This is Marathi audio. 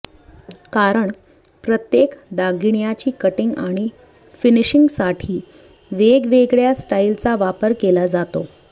कारण प्रत्येक दागिण्याची कटींग आणि फिनिशिंगसाठी वेगवेगळ्या स्टाइलचा वापर केला जातो